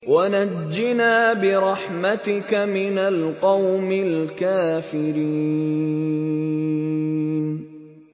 وَنَجِّنَا بِرَحْمَتِكَ مِنَ الْقَوْمِ الْكَافِرِينَ